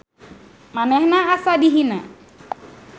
Manehna asa dihina.